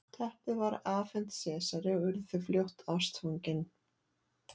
teppið var afhent sesari og urðu þau fljótt ástfangin